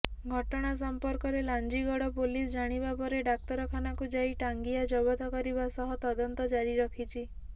ଘଟଣା ସମ୍ପର୍କରେ ଲାଞ୍ଜିଗଡ ପୋଲିସ ଜାଣିବାପରେ ଡାକ୍ତରଖାନାକୁ ଯାଇ ଟାଂଗିଆ ଜବତ କରିବା ସହ ତଦନ୍ତ ଜାରି ରଖିଛି